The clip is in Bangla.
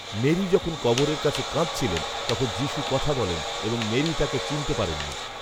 মেরী যখন কবরের কাছে কাঁদছিলেন তখন যীষূ কথা বলেন এবং মেরী তাকে চিনতে পারেননি